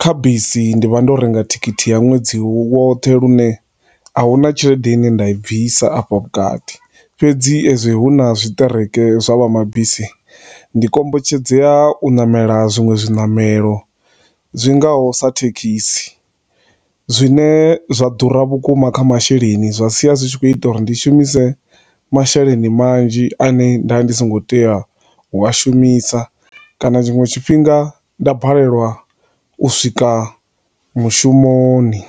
kha bisi ndi vha ndo renga thikhiti ya nwedzi wothe lune ahuna tshelede ine nda i bvisa afha vhukati, fhedzi ezwi huna zwi tekereke zwa vha mabisi, ndi kombetshedzea u ṋamela zwinwe zwi ṋamelo zwingaho sa thekhisi, zwine zwa ḓura vhukuma kha masheleni zwa siya zwi tshi khou ita uri ndi shumise masheleni manzhi a ne nda ndi songo tea u a shumisa, kana zwinwe zwifhinga nda balelwa u swika mushumoni.